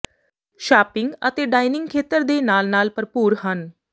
shopping ਅਤੇ dining ਖੇਤਰ ਦੇ ਨਾਲ ਨਾਲ ਭਰਪੂਰ ਹਨ